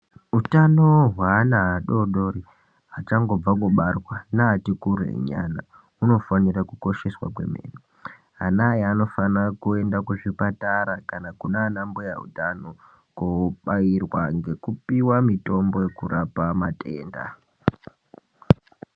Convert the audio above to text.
Utano hweana adodori achangobva kubarwa neati kure nyana hunofano kosheswa kwene ana aya anofana kuenda kuzvipatara kana kunana mbuya utano kobairwa ngekupiwa mitombo inorapa matenda .